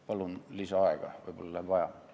Palun lisaaega, võib-olla läheb vaja!